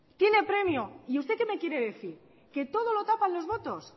tiene premio y usted qué me quiere decir que todo lo tapan los votos